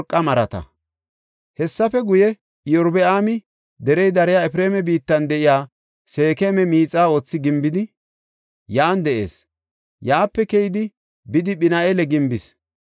Hessafe guye Iyorbaami derey dariya Efreema biittan de7iya Seekema miixa oothi gimbidi, yan de7is; yaape keyidi bidi Phin7eela gimbis.